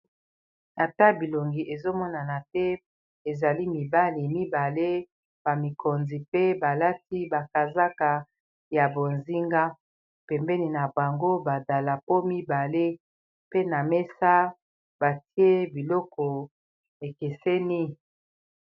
Ata bilongi ezomonana te ezali mibali mibale bamikonzi pe balati bakazaka ya bozinga pembeni na bango badalapo mibale pe na mesa batie biloko ekeseni